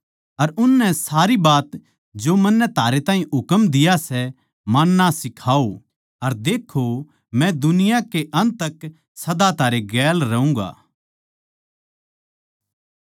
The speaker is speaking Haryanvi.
अर उननै सारी बात जो मन्नै थारे ताहीं हुकम दिया सै माणना सिखाओ अर देक्खो मै जगत कै अंत तक सदा थारै गेल रहूँगा